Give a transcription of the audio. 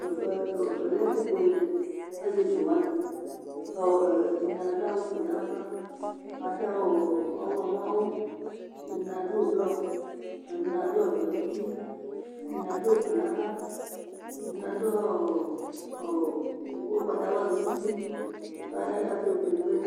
ɛfɛ lɛ ɛfu buele asietsu wʋani ɔɔɛɛ ɛdini adu awu fue nu ava, adu awu ɔɔ ɔwlɔmɔ awu, ɛdini adu blɔ ɛdini ɔvɛ ŋuti, ɛdini adu ofue nava, edini ɔɔɔ, ɔɔɔ ugbata wla su nuti mɛ akebuele